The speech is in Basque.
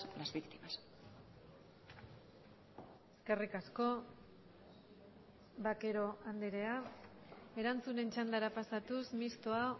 las víctimas eskerrik asko vaquero andrea erantzunen txandara pasatuz mixtoa